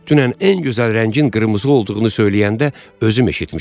Dünən ən gözəl rəngin qırmızı olduğunu söyləyəndə özüm eşitmişəm.